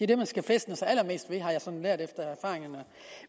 det man skal fæstne sig allermest ved har jeg sådan lært af erfaring